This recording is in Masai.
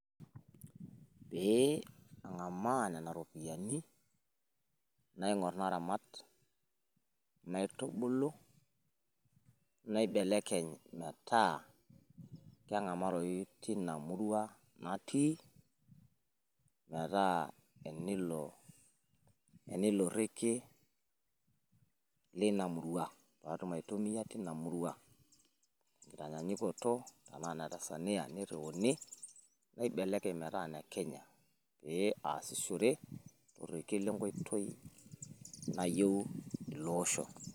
Eeeh ang'amaaa nena ropiyiani naing'or naramat naitubulu naibelekeny metaa keng'amaroyu tina murua natii metaa enilo rekie lina murua paatum aitumiya tina murua tenkitanyaanyukoto tenaa ine Tanzania neiriuni naibelekeny metaa ine ine Kenya naashishore torekie lenkoitoi nayieu ilo oosho.